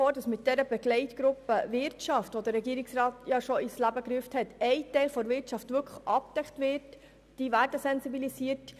Mit der Begleitgruppe Wirtschaft, die der Regierungsrat bereits ins Leben gerufen hat, wird aus unserer Sicht ein Teil der Wirtschaft abgedeckt und sensibilisiert.